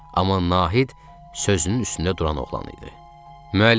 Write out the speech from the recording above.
Amma Nahid sözünün üstündə duran oğlan idi.